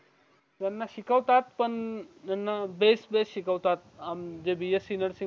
ह्यांना शिकवतात पण बेस बेस शिकवतात हम्म जे bsc नर्सिंग वाले